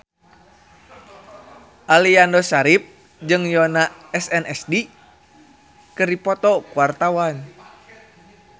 Aliando Syarif jeung Yoona SNSD keur dipoto ku wartawan